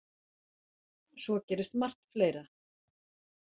Svo gerist margt fleira.